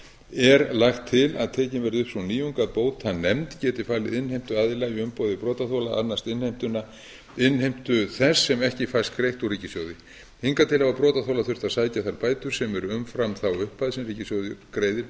er lagt til að tekin verði upp sú nýjung að bótanefnd geti falið innheimtuaðila í umboði brotaþola að annast innheimtu þess sem ekki fæst greitt úr ríkissjóði hingað til hafa brotaþolar þurft að sækja þær bætur sem eru umfram þá upphæð sem ríkissjóður greiðir